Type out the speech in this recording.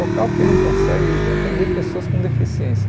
Local que não consegue atender pessoas com deficiência.